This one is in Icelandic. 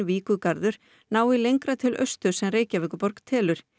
Víkurgarður nái lengra til austurs en Reykjavíkurborg telur